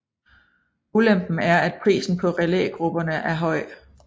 Ulempen er at prisen på relægrupperne er høj